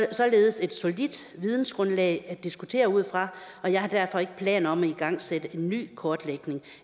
således et solidt vidensgrundlag at diskutere ud fra og jeg har derfor ikke planer om at igangsætte en ny kortlægning